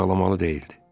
Ağlamalı deyildi.